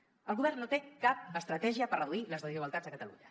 el govern no té cap estratègia per reduir les desigualtats a catalunya